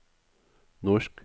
norsk